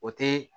O tɛ